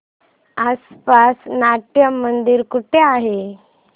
आसपास नाट्यमंदिर कुठे आहे